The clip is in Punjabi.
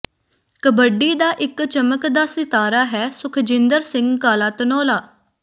ਕਬੱਡੀ ਦਾ ਇਕ ਚਮਕਦਾ ਸਿਤਾਰਾ ਹੈ ਸੁਖਜਿੰਦਰ ਸਿੰਘ ਕਾਲਾ ਧਨੌਲਾ